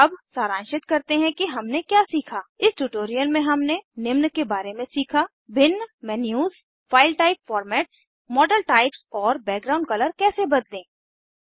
अब सारांशित करते हैं कि हमने क्या सीखा इस ट्यूटोरियल में हमने निम्न के बारे में सीखा भिन्न menus file type formats model types और बैकग्राउंड कलर कैसे बदलें